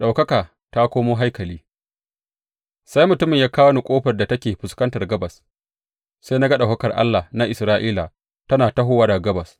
Ɗaukaka ta komo haikali Sai mutumin ya kawo ni ƙofar da take fuskantar gabas, sai na ga ɗaukakar Allah na Isra’ila tana tahowa daga gabas.